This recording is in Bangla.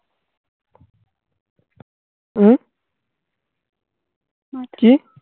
হম কি?